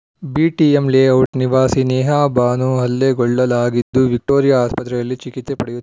BTM layout ನಿವಾಸಿ Neha Banu ಹಲ್ಲೆಗೊಳ್ಳಲಾಗಿದ್ದು Victoria ಆಸ್ಪತ್ರೆಯಲ್ಲಿ ಚಿಕಿತ್ಸೆ ಪಡೆಯು